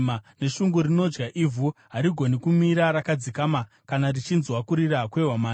Neshungu rinodya ivhu; harigoni kumira rakadzikama kana richinzwa kurira kwehwamanda.